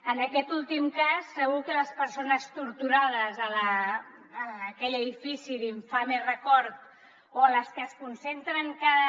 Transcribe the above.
en aquest últim cas segur que les persones torturades a aquell edifici d’infame record o les que es concentren cada